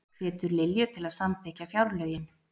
Hvetur Lilju til að samþykkja fjárlögin